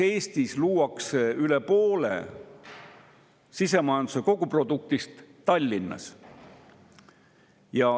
Eestis luuakse üle poole sisemajanduse koguproduktist Tallinnas.